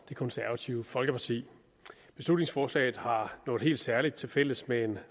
det konservative folkeparti beslutningsforslaget har noget helt særligt til fælles med en